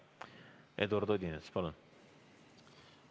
Eduard Odinets, palun!